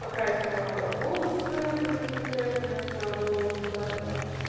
покрасила волосы в рыжий цвет вместо моего натурального